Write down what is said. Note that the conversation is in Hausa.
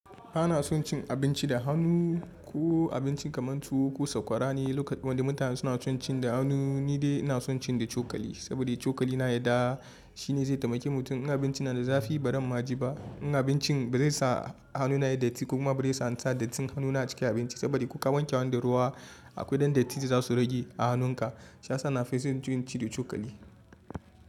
Kana son cin abinci da hannu ko abinci kamar tuwo ko sakwara ne lokacin wanda mutane suna son cin da hannu ni dai ina son cin da cokali saboda cokali na yadda shine zai taimake mutum in abinci na da zafi baran ma ji ba, in abincin ba zai sa hannuna ya datti ko kuma ba zai sa ni sa datti hannuna a cikin abinci saboda ko ka wanke hannu da ruwa akwai dan datti da zasu rage a hannunka. Shiyasa na fa zan so cin da cokali.